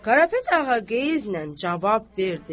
Karapet ağa qeyizlə cavab verdi.